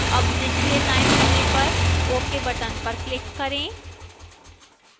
अब निचले दाएं कोने पर ok button पर click करें